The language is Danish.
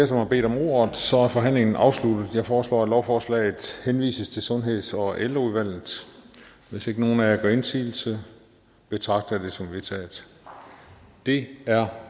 som har bedt om ordet så er forhandlingen afsluttet jeg foreslår at lovforslaget henvises til sundheds og ældreudvalget hvis ikke nogen af gør indsigelse betragter jeg det som vedtaget det er